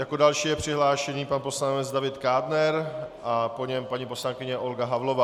Jako další je přihlášený pan poslanec David Kádner a po něm paní poslankyně Olga Havlová.